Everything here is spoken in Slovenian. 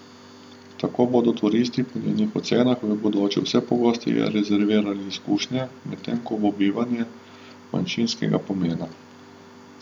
Tako bodo turisti po njenih ocenah v bodoče vse pogosteje rezervirali izkušnje, medtem ko bo bivanje manjšinskega pomena.